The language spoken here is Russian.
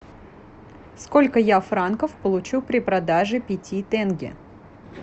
сколько я франков получу при продаже пяти тенге